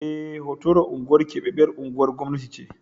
Eh, Hotoro unguwar keɓaɓɓyar unguwar gwamnati ce.